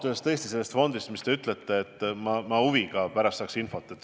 Ma ausalt öeldes ootan huviga infot selle fondi kohta, millest te rääkisite.